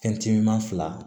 Fɛn tiɲɛna fila